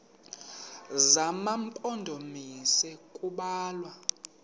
zema mpondomise kubalwa